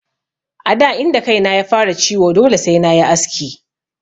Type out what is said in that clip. A da inda kaina ya fara ciwo dole sai nayi aski.